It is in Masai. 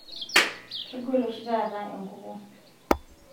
kegol oshitaata enkuku